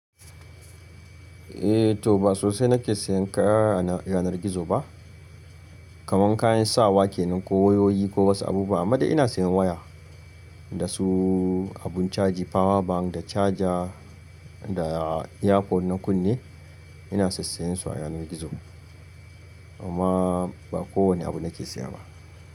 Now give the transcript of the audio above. Eh to ba sosai nake sayan kaya a yanar gizo ba. Kaman kayan sawa ke nan ko wayoyi ko wasu abubuwa amma da ina sayan waya da su abun caji power bank da charger da earphones na kunne ina sassayen su a yanar gizo. Amma ba kowane abu nake saya ba.